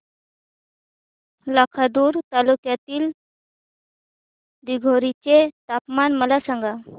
लाखांदूर तालुक्यातील दिघोरी चे तापमान मला सांगा